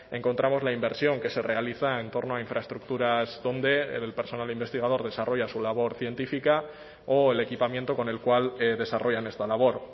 encontramos la inversión que se realiza en torno a infraestructuras donde el personal investigador desarrolla su labor científica o el equipamiento con el cual desarrollan esta labor